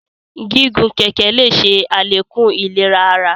Gígùn kẹkẹ le ṣe alekun ìlera àrà